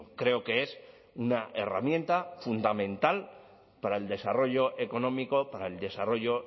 creo que es una herramienta fundamental para el desarrollo económico para el desarrollo